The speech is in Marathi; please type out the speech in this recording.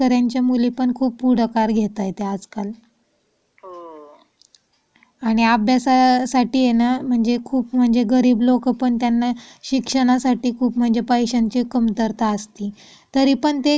मुली पण खूप पुढाकार घेत आहेत आजकाल. आणि अभ्यासासाठी. त्यांना खूप म्हणजे गरीब लोक पण त्यांना शिक्षणासाठी खूप म्हणजे पैशांची कमतरता असती तरी पण ते